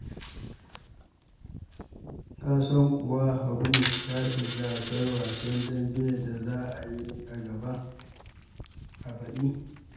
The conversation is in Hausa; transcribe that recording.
Ka san kuwa Habu ya shiga gasar wasan dambe da za a yi a baɗi?